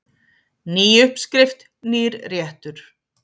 Ný uppskrift, nýr réttur.